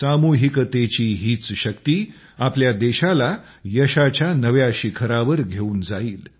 सामूहिकतेची हीच शक्ती आपल्या देशाला यशाच्या नव्या शिखरावर घेऊन जाईल